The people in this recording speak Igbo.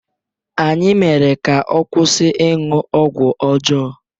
Anyị mere ka ọ kwụsị ịṅụ ọgwụ ọjọọ